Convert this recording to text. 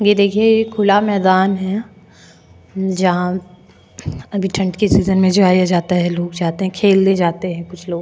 ये देखिए ये खुला मैदान है जहां अभी ठंड के सीजन में जाया जाता है लोग जाते हैं खेलने जाते हैं।